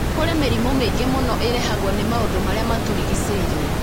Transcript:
Kũrĩ mĩrimũ mĩingĩ mũno ĩrehagwo nĩ maũndũ marĩa matũrigicĩirie.